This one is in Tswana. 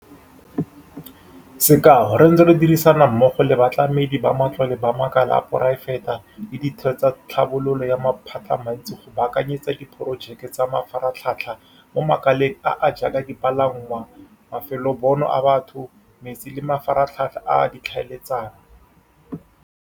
Sekao, re ntse re dirisana mmogo le batlamedi ba matlole ba makala a poraefete le ditheo tsa tlhabololo ya maphatamantsi go baakanyetsa diporojeke tsa mafaratlhatlha mo makaleng a a jaaka dipalangwa, mafelobonno a batho, metsi le mafaratlhatlha a ditlhaeletsano.